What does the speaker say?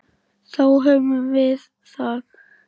Þá höfum við það.